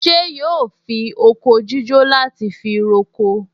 Ṣé yóò fi oko jíjó láti fi roko?